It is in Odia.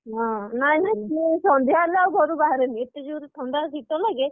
ନାଇ ମୁଁ ସନ୍ଧ୍ୟା ହେଲେ ଆଉ ଘରୁ ବାହାରେନି ଏତେ ଜୋରେ ଥଣ୍ଡା ଆଉ ଶୀତ ଲାଗେ